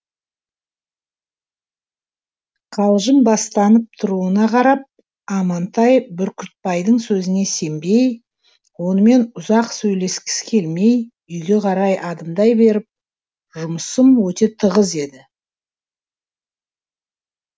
қалжыңбастанып тұруына қарап амантай бүркітбайдың сөзіне сенбей онымен ұзақ сөйлескісі келмей үйге қарай адымдай беріп жұмысым өте тығыз еді